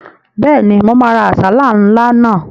Bẹ́ẹ̀ni, mo máa ra àsálà ńlá náà